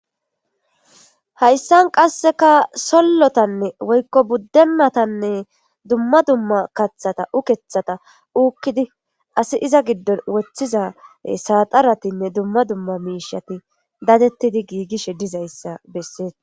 hayssan qasseka sollotanne woykko buddenatanne dumma dumma kaththata ukeeththata ukidi asi iza giddon woththiza saaxaratinne dumma dumma miishati dadettidi giigishe dizayssa bessees